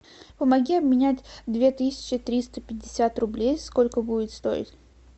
помоги обменять две тысячи триста пятьдесят рублей сколько будет стоить